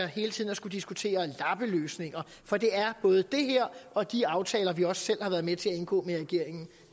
hele tiden at skulle diskutere lappeløsninger for det er både det her og de aftaler vi også selv har været med til at indgå med regeringen